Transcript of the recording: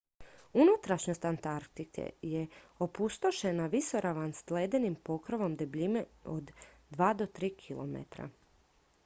unutrašnjost antarktike je opustošena visoravan s ledenim pokrovom debljine od 2-3 km